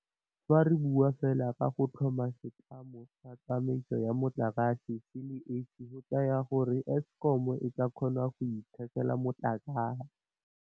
Fa re bua fela ka go tlhoma setlamo sa tsamaiso ya motlakase se le esi go tla raya gore Eskom e tla kgona go ithekela motlakase.